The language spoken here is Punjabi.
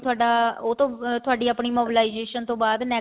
ਥੋਡਾ ਉਹਤੋਂ ਥੋਡੀ ਆਪਣੀ mobilization ਤੋਂ ਬਾਅਦ